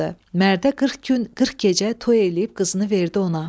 Mərdə 40 gün, 40 gecə toy eləyib qızını verdi ona.